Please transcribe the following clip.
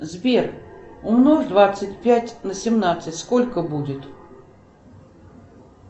сбер умножь двадцать пять на семнадцать сколько будет